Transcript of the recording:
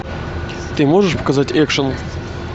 ты можешь показать экшн